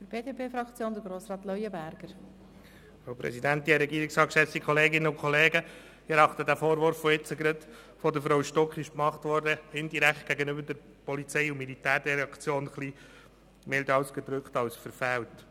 Ich erachte den Vorwurf, der eben gerade von Grossrätin Stucki indirekt gegenüber der POM gemacht wurde milde ausgedrückt als verfehlt.